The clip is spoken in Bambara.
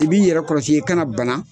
I b'i yɛrɛ kɔlɔsi i kana bana